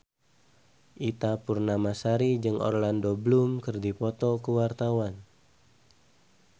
Ita Purnamasari jeung Orlando Bloom keur dipoto ku wartawan